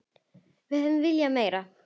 Við hefðum viljað meira.